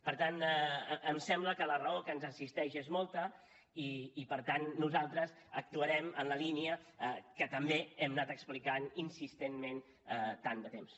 per tant em sembla que la raó que ens assisteix és molta i per tant nosaltres actuarem en la línia que també hem anat explicant insistentment tant de temps